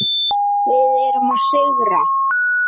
Við erum að sigra.